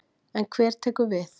En hver tekur við?